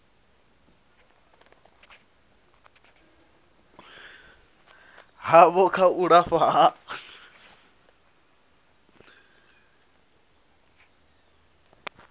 havho kha u lafha ha